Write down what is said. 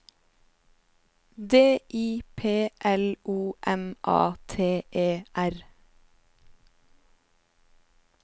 D I P L O M A T E R